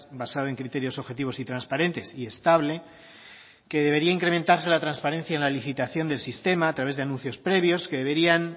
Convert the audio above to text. basado en criterios objetivos y transparentes y estable que debería incrementarse la transparencia en la licitación del sistema a través de anuncios previos que deberían